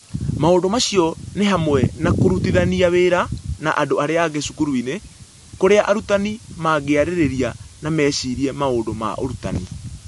Maũndũ macio nĩ hamwe na kũrutithania wĩra na andũ arĩa angĩ cukuru-inĩ, kũrĩa arutani mangĩarĩrĩria na mecirie maũndũ ma ũrutani.